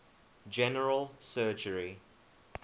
general surgery